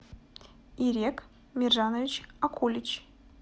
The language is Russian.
ирек миржанович акулич